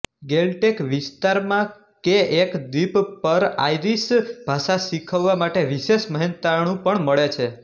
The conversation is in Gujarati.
ગેલટેક વિસ્તારમાં કે એક દ્વીપ પરઆઇરીશ ભાષા શીખવવા માટે વિશેષ મહેનતાણુ પણ મળે છે